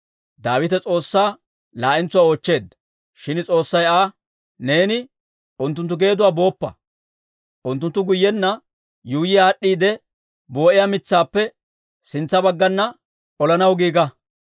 Daawite S'oossaa laa'entsuwaa oochcheedda. Shin S'oossay Aa, «Neeni unttunttu geeduwaa booppa. Unttunttu guyyenna yuuyya aad'd'aade boo'iyaa mitsaappe sintsa baggana olanaw giiga.